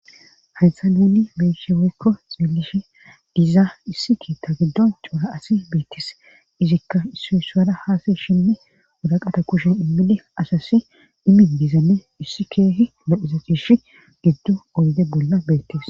Hayssa naani beshe wekko xiillishi dizaa issiki ta giddon cuura asi beettis izikka issu issuada haasa shinni wodaqata kushen immide asasi dimi diizame issi keehi lophisa fish giddo oyde bolla beettes